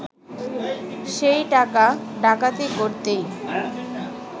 সেই টাকা ডাকাতি করতেই